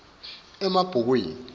emabhukwini